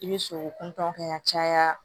I bɛ sogo kuntaaw kɛ ka caya